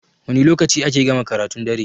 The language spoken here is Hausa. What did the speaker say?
Wani lokaci ake gama karatun dare?